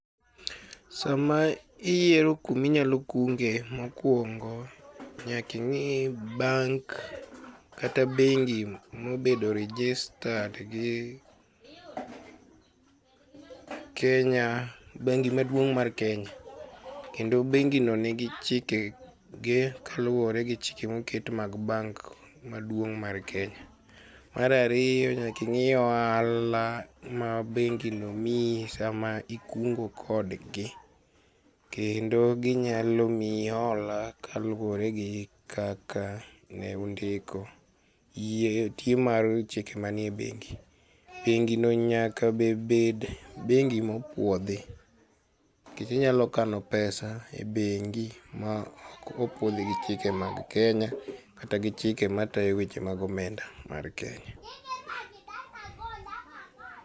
Sama iyiero kama inyalo kunge mokuongo nyaka ingii bank kata bengi mobedo registered gi Kenya, bengi maduong' mar Kenya. kendo bengi no nigi chikege kaluore gi chike moket mag bank maduong' mar Kenya. Mar ariyo nyaka in gi ohala ma bengino miyi sama ikungo kodgi kendo ginyalo miyi hola kaluore gi kaka ne undiko. ...Bengino nyaka be bed bengi ma opuodhi nikech inyalo kano pesa e bengi maok opuodh gi chike mag Kenya kata gi chike matayo weche mag omenda mar Kenya